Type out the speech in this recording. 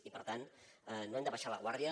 i per tant no hem de baixar la guàrdia